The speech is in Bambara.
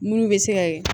Munnu bɛ se ka